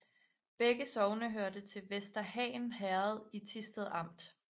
Begge sogne hørte til Vester Han Herred i Thisted Amt